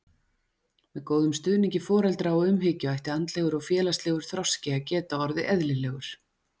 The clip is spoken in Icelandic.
Með góðum stuðningi foreldra og umhyggju ætti andlegur og félagslegur þroski að geta orðið eðlilegur.